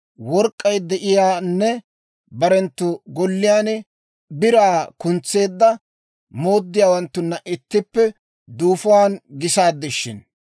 work'k'ay de'iyaanne barenttu golliyaan biraa kuntseedda mooddiyaawanttunna ittippe duufuwaan gisaaddi shin!